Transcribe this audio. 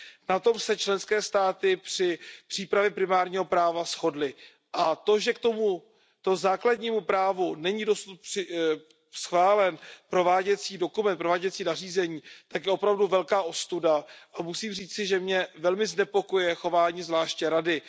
Na tom se členské státy při přípravě primárního práva shodly. A to, že k tomuto základnímu právu není dosud schválen prováděcí dokument, prováděcí nařízení, je opravdu velká ostuda a musím říci, že mě velmi znepokojuje chování zvláště Rady.